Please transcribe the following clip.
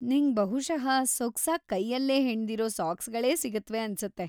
ನಿಂಗ್ ಬಹುಷಃ ಸೊಗ್ಸಾಗ್‌ ಕೈಯಲ್ಲೇ ಹೆಣ್ದಿರೋ ಸಾಕ್ಸ್‌ಗಳೇ ಸಿಗತ್ವೆ ಅನ್ಸತ್ತೆ.